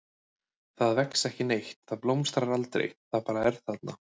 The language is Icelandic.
Það vex ekki neitt, það blómstrar aldrei, það bara er þarna.